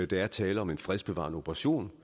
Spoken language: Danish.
der er tale om en fredsbevarende operation